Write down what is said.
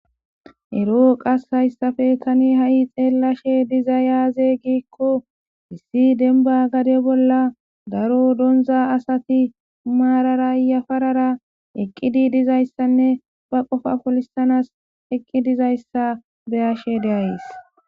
Ero qase haysape tani hai xelashe dizay aze giko issi demba gade bolla daro donza asati marara yafarara eqidi dizaysane ba qofa polisanas eqi dizaysa be'ashe de'ays.